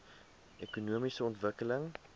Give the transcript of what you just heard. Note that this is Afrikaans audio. ekonomiese ontwikkeling